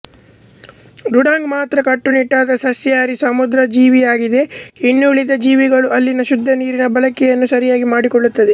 dugong ಮಾತ್ರ ಕಟುನಿಟ್ಟಾದ ಸಸ್ಯಾಹಾರಿ ಸಮುದ್ರ ಜೀವಿಯಾಗಿದೆಇನ್ನುಳಿದ ಜೀವಿಗಳು ಅಲ್ಲಿನ ಶುದ್ದ ನೀರಿನ ಬಳಕೆಯನ್ನು ಸರಿಯಾಗಿ ಮಾಡಿಕೊಳ್ಳುತ್ತವೆ